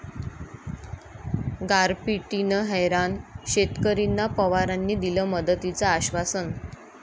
गारपिटीनं हैराण शेतकरींना पवारांनी दिलं मदतीचं आश्वासन